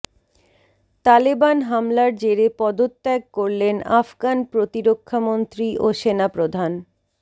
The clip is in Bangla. তালেবান হামলার জেরে পদত্যাগ করলেন আফগান প্রতিরক্ষামন্ত্রী ও সেনাপ্রধান